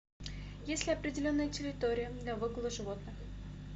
есть ли определенная территория для выгула животных